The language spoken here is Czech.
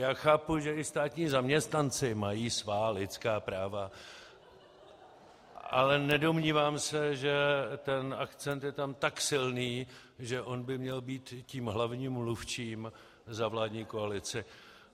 Já chápu, že i státní zaměstnanci mají svá lidská práva, ale nedomnívám se, že ten akcent je tam tak silný, že on by měl být tím hlavním mluvčím za vládní koalici.